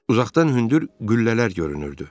Uzaqdan hündür qüllələr görünürdü.